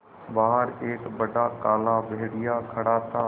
बाहर एक बड़ा काला भेड़िया खड़ा था